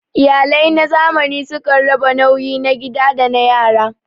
Iyalai na zamani sukan raba nauyi na gida da na yara.